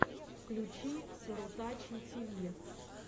включи сарутачи тиви